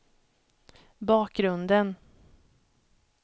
bakgrunden